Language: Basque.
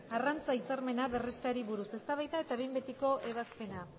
arrantza hitzarmena berresteari buruz eztabaida eta behin betiko ebazpena